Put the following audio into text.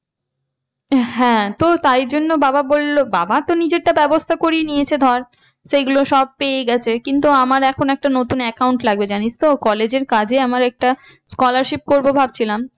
হ্যাঁ তো তাই জন্য বাবা বললো, বাবা তো নিজেরটা ব্যবস্থা করে নিয়েছে ধর সেগুলো সব পেয়ে গেছে। কিন্তু আমার এখন একটা নতুন account লাগবে জানিস তো college এর কাজে আমার একটা scholarship পড়বো ভাবছিলাম।